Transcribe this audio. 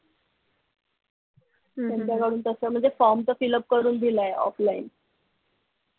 त्यांच्याकडून तस म्हणजे form तर fill up करून दिलाय offline